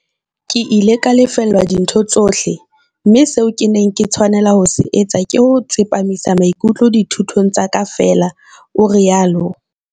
Ke ile ka lefellwa dintho tsohle, mme seo ke neng ke tshwanela ho se etsa ke ho tsepamisa maikutlo dithutong tsa ka feela, o rialo.